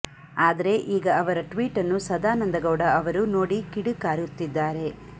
ಆದ್ರೆ ಈಗ ಅವರ ಟ್ವೀಟ್ ಅನ್ನು ಸದಾನಂದಗೌಡ ಅವರು ನೋಡಿ ಕಿಡಿಕಾರುತ್ತಿದ್ದಾರೆ